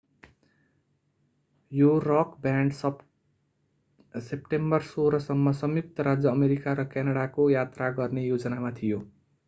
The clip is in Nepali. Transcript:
यो रक ब्यान्ड सेप्टेम्बर 16 सम्म संयुक्त राज्य अमेरिका र क्यानडाको यात्रा गर्ने योजनामा थियो